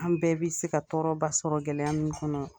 An bɛɛ bi se ka tɔɔrɔba sɔrɔ gɛlɛya min kɔnɔ